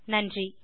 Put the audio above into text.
நன்றி